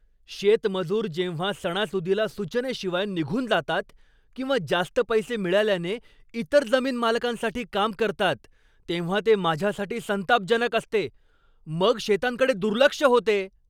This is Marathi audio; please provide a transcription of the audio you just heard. शेतमजूर जेव्हा सणासुदीला सूचनेशिवाय निघून जातात किंवा जास्त पैसे मिळाल्याने इतर जमीनमालकांसाठी काम करतात तेव्हा ते माझ्यासाठी संतापजनक असते. मग शेतांकडे दुर्लक्ष होते.